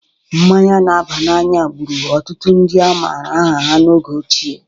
Mmanya n'aba n'anya gbụru ọtụtụ ndị a mara aha ha n'oge ochie